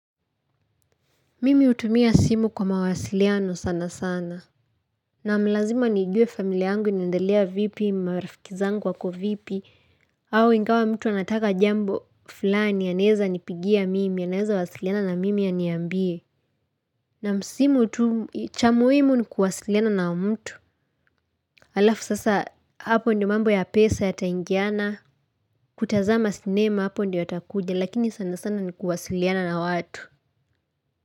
Mimi hutumia simu kwa mawasiliano sana sana. Naam, lazima nijuwe familia yangu inaendelea vipi marafiki zangu wako vipi. Au ingawa mtu anataka jambo fulani anaweza nipigia mimi anaweza wasiliana na mimi ya aniambie. Naam, simu tu cha muhimu ni kuwasiliana na mtu. Alafu sasa hapo ndiyo mambo ya pesa yataingiana. Kutazama sinema hapo ndiyo nitakuja lakini sana sana ni kuwasiliana na watu.